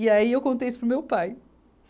E aí eu contei isso para o meu pai.